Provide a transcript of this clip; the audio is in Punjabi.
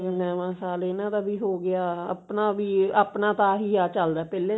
ਨਵਾਂ ਸਾਲ ਇਹਨਾਂ ਦਾ ਵੀ ਹੋਗੀਆ ਆਪਣਾ ਵੀ ਆਪਣਾ ਤਾਂ ਆਹੀ ਏਹ ਚਲਦਾ ਪਹਿਲੇ